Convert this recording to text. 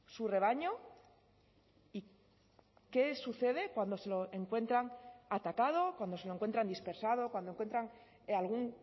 su rebaño y qué sucede cuando se lo encuentran atacado cuando se encuentran dispersado cuando encuentran algún